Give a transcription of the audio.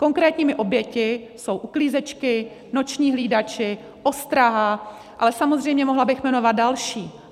Konkrétními oběťmi jsou uklízečky, noční hlídači, ostraha, ale samozřejmě mohla bych jmenovat další.